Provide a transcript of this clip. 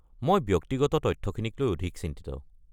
মই ব্যক্তিগত তথ্যখিনিক লৈ অধিক চিন্তিত।